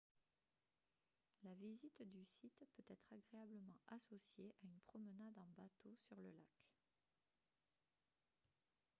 la visite du site peut être agréablement associée à une promenade en bateau sur le lac